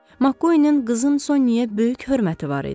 MacQueenin qızı Sonyaya böyük hörməti var idi.